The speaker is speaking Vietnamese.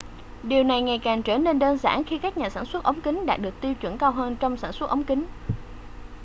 điều này ngày càng trở nên đơn giản khi các nhà sản xuất ống kính đạt được tiêu chuẩn cao hơn trong sản xuất ống kính